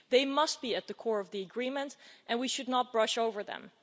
They must be at the core of the agreement and we should not brush over them.